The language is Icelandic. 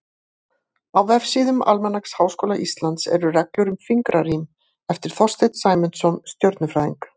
Á vefsíðum Almanaks Háskóla Íslands eru reglur um fingrarím, eftir Þorsteinn Sæmundsson stjörnufræðing.